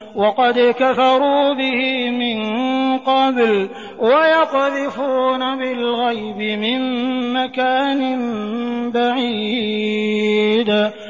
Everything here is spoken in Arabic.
وَقَدْ كَفَرُوا بِهِ مِن قَبْلُ ۖ وَيَقْذِفُونَ بِالْغَيْبِ مِن مَّكَانٍ بَعِيدٍ